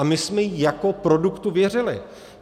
A my jsme jí jako produktu věřili.